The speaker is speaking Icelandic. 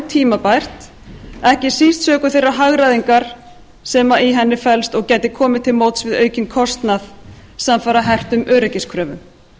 tímabært ekki síst sökum þeirrar hagræðingar sem í henni felst og gæti komið til móts við aukinn kostnað samfara hertum öryggiskröfum